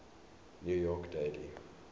new york daily